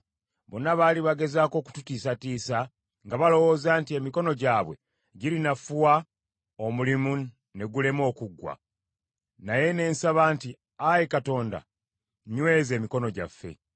Bonna baali bagezaako okututiisatiisa, nga balowooza nti, “Emikono gyabwe girinafuwa omulimu ne gulema okuggwa.” Naye ne nsaba nti, “Ayi Katonda, nyweza emikono gyaffe.”